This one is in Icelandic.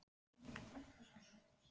Hann er ákaflega opinskár í viðkynningu.